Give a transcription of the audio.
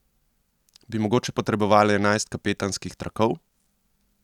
Bi mogoče potrebovali enajst kapetanskih trakov?